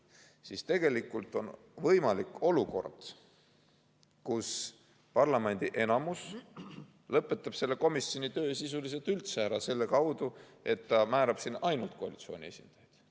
Nii on tegelikult võimalik olukord, kus parlamendi enamus lõpetab selle komisjoni töö sisuliselt üldse ära, näiteks nii, et ta määrab sinna ainult koalitsiooni esindajaid.